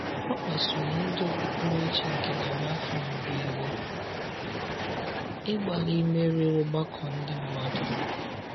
Ọ kpasụrụ ndị okpukpere chi nke narị afọ mbụ iwe ,ịgbalị imerụ ọgbakọ Ndị mmadu.